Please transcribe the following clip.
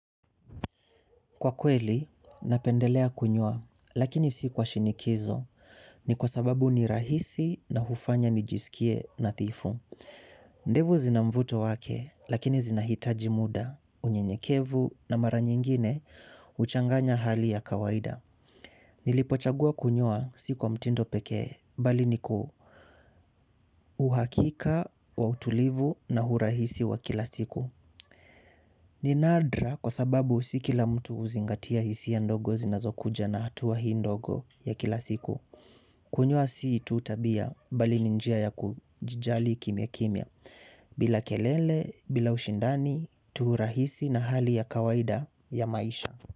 Kwa kweli, napendelea kunywa, lakini si kwa shinikizo, ni kwa sababu ni rahisi na hufanya ni jisikie nadhifu. Ndevu zina mvuto wake, lakini zinahitaji muda, unyenyekevu na mara nyingine, huchanganya hali ya kawaida. Nilipochagua kunyoa sikwa mtindo pekee, bali niku uhakika wa utulivu na hurahisi wa kila siku. Ni nadra kwa sababu si kila mtu huzingatia hisiya ndogo zinazokuja na hatuwa hii ndogo ya kila siku. Kunyoa si tu tabia bali ni njia ya kujijali kimya kimya bila kelele, bila ushindani, tu rahisi na hali ya kawaida ya maisha.